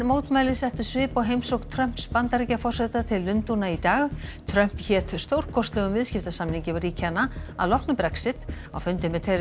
mótmæli settu svip á heimsókn Trumps Bandaríkjaforseta til Lundúna í dag Trump hét stórkostlegum viðskiptasamningi ríkjanna að loknu Brexit á fundi með